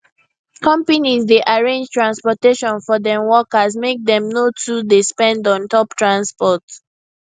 conpanies dey arrange transportation for dem workers make dem no too dey spend on top transport